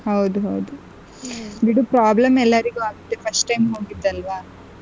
ಹೌದು ಹೌದು ಬಿಡು problem ಎಲ್ಲಾರಿಗು ಆಗುತ್ತೆ first time ಹೋಗಿದಲ್ವ.